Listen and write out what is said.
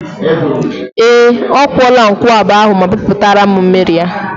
Ee, ọ kwụọla nkwụaba ahụ ma pịpụtara m mmiri ya.